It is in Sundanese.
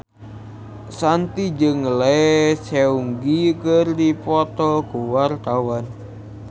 Shanti jeung Lee Seung Gi keur dipoto ku wartawan